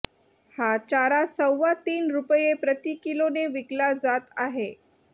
हा चारा सव्वा तीन रुपये प्रति किलोने विकला जात आहे